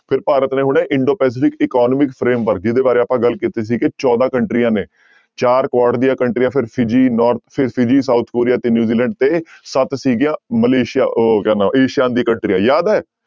ਫਿਰ ਭਾਰਤ ਨੇ ਹੁਣੇ ਇੰਡੋ ਪੈਸਿਫਿਕ economic framework ਜਿਹਦੇ ਬਾਰੇ ਆਪਾਂ ਗੱਲ ਕੀਤੀ ਸੀ ਕਿ ਚੌਦਾਂ ਕੰਟਰੀਆਂ ਨੇ ਚਾਰ ਕੁਆਡ ਦੀਆਂ ਕੰਟਰੀਆਂ south ਕੋਰੀਆ ਤੇ ਨਿਊਜੀਲੈਂਡ ਤੇ ਸੱਤ ਸੀਗੀਆਂ ਮਲੇਸੀਆ ਉਹ ਹੋ ਗਿਆ ਨਾ ਏਸੀਆਨ ਦੀ ਕੰਟਰੀਆਂ ਯਾਦ ਹੈ।